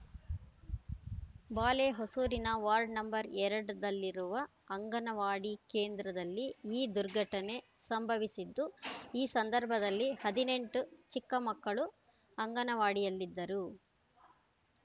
ಬಾಲೆಹೊಸೂರಿನ ward number ಎರಡು ದಲ್ಲಿರುವ ಅಂಗನವಾಡಿ ಕೇಂದ್ರದಲ್ಲಿ ಈ ದುರ್ಘಟನೆ ಸಂಭವಿಸಿದ್ದು ಈ ಸಂದರ್ಭದಲ್ಲಿ ಹದಿನೆಂಟು ಚಿಕ್ಕ ಮಕ್ಕಳು ಅಂಗನವಾಡಿಯಲ್ಲಿದ್ದರು